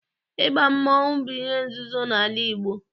Ịba mmọnwụ bụ ihe nzuzo n'ala Igbo